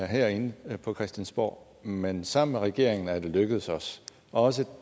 herinde på christiansborg men sammen med regeringen er det lykkedes os og også